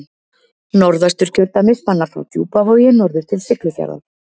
Norðausturkjördæmi spannar frá Djúpavogi norður til Siglufjarðar.